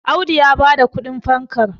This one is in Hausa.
Audu ya ba da kudin fankar